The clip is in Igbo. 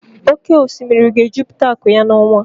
Oke osimiri ga-ejupụta akụ ya n'ọnwa a.